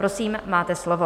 Prosím, máte slovo.